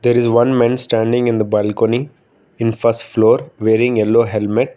there is one men standing in the balcony in first floor wearing yellow helmet.